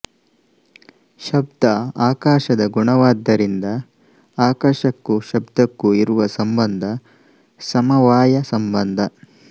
ಶಬ್ದ ಆಕಾಶದ ಗುಣವಾದ್ದರಿಂದ ಆಕಾಶಕ್ಕೂ ಶಬ್ದಕ್ಕೂ ಇರುವ ಸಂಬಂಧ ಸಮವಾಯ ಸಂಬಂಧ